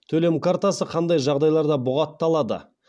төлем картасы қандай жағдайларда бұғатталады